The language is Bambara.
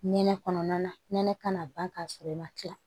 Nɛnɛ kɔnɔna na nɛnɛ kan ka ban k'a sɔrɔ i ma kila